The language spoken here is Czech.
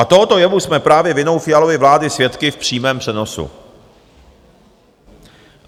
A tohoto jevu jsme právě vinou Fialovy vlády svědky v přímém přenosu.